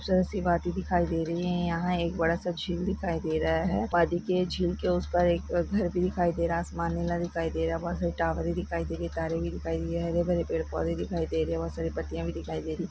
गहस दिख रहा है यहां एक बहुत बड़ा नदी दिख रही है आसमान नीला दिखाई दे रहा बहे रावट दिखाई दे रहीं है हरे भरे पेड़ पौधे दिखाई दे रहें हैं बहुत साड़ी पार्टियां भी दिखाई दे रहे हैं।